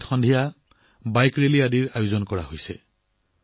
ইয়াত musical night bike ৰেলীৰ দৰে অনুষ্ঠান চলি আছে